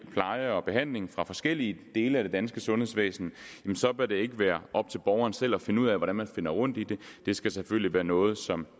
pleje og behandling fra forskellige dele af det danske sundhedsvæsen bør det ikke være op til borgeren selv at finde ud af hvordan man finder rundt i det det skal selvfølgelig være noget som